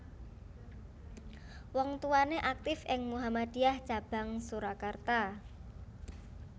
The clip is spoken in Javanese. Wong tuwané aktif ing Muhammadiyah cabang Surakarta